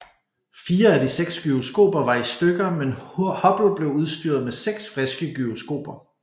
Fire af de seks gyroskoper var i stykker men Hubble blev udstyret med seks friske gyroskoper